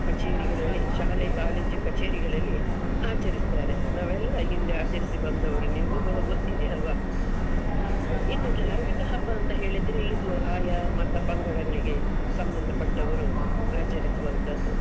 ಕಚೇರಿಗಳಲ್ಲಿ, ಶಾಲೆ college ಉ ಕಚೇರಿಗಳಲ್ಲಿ ಆಚಾರಿಸ್ತರೆ, ನಾವೆಲ್ಲಾ ಹಿಂದೆ ಆಚರಿಸಿ ಬಂದವರು ನಿಮ್ಗೂಕೂಡ ಗೊತ್ತಿದೆ ಅಲ್ವಾ. ಇನ್ನು ಧಾರ್ಮಿಕ ಹಬ್ಬ ಅಂತ ಹೇಳಿದ್ರೆ ಇದು ಆಯಾ ಮತ ಪಂಗಡಗಳಿಗೆ ಸಂಬಂಧ ಪಟ್ಟವರು ಆಚರಿಸುವಂತದ್ದು.